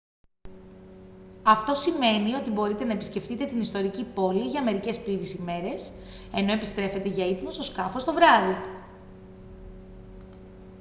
αυτό σημαίνει ότι μπορείτε να επισκεφτείτε την ιστορική πόλη για μερικές πλήρεις ημέρες ενώ επιστρέφετε για ύπνο στο σκάφος το βράδυ